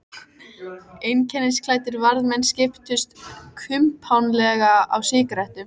Einkennisklæddir varðmenn skiptust kumpánlega á sígarettum.